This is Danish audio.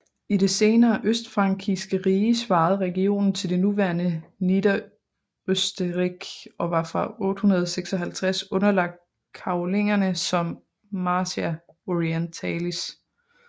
I det senere østfrankiske rige svarede regionen til det nuværende Niederösterreich og var fra 856 underlagt Karolingerne som Marchia orientalis